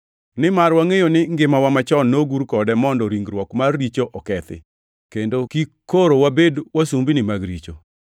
Nimar wangʼeyo ni ngimawa machon nogur kode mondo ringruok mar richo okethi, kendo kik koro wabed wasumbini mag richo,